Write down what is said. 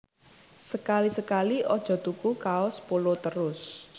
Sekali sekali ojo tuku kaos Polo terus